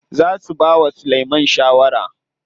Za su bawa Sulaiman shawara.